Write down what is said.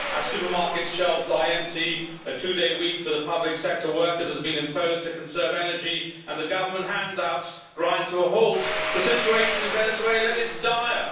As supermarket shelves lie empty, a two day week for the public sector workers has been imposed to conserve energy and government hand outs grind to a halt, the situation in Venezuela is dire.